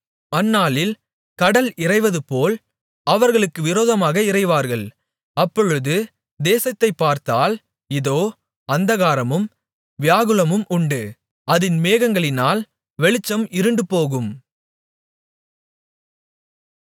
அந்நாளில் கடல் இரைவதுபோல் அவர்களுக்கு விரோதமாக இரைவார்கள் அப்பொழுது தேசத்தைப்பார்த்தால் இதோ அந்தகாரமும் வியாகுலமும் உண்டு அதின் மேகங்களினால் வெளிச்சம் இருண்டுபோகும்